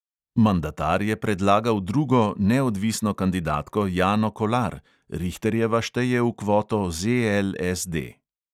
Mandatar je predlagal drugo, neodvisno kandidatko jano kolar; rihterjeva šteje v kvoto ZLSD.